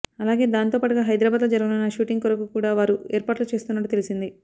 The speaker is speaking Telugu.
అలాగే దానితో పాటుగా హైదరాబాద్ లో జరగనున్న షూటింగ్ కొరకు కూడా వారు ఏర్పాట్లు చేస్తున్నట్టు తెలిసింది